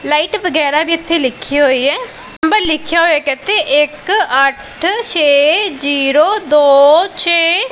Light ਵਗੈਰਾ ਵੀ ਇੱਥੇ ਲਿੱਖੀ ਹੋਈ ਹੈ ਨੰਬਰ ਲਿੱਖਿਆ ਹੋਇਆ ਹੈ ਇੱਕ ਇੱਥੇ ਇੱਕ ਅੱਠ ਛੇ ਜੀਰੋ ਦੋ ਛੇ।